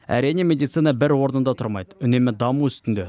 әрине медицина бір орында тұрмайды үнемі даму үстінде